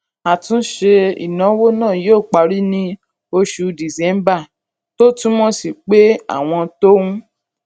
àtúntúnṣe ìnáwó náà yóò parí ní oṣù december èyí december èyí tó túmọ sí pé àwọn tó ń